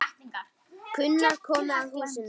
Gunnar komu að húsinu.